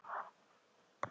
Það styttir kannski upp.